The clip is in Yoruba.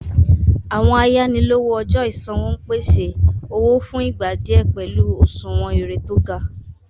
Àwọn àyànílòwò ọjọ́ ìṣanwọ́ ń pèsè owó fún ìgbà díẹ̀ pẹ̀lú òṣùwọ̀n èrè tó gá.